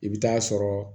I bɛ taa sɔrɔ